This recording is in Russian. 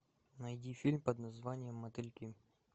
найди фильм под названием мотыльки